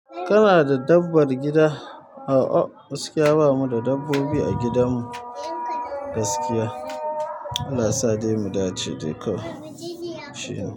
Kana da dabbar gida? A'a, gaskiya bamu da dabbobi a gidan mu gaskiya. Allah sa dai mu dace dai kawai shine.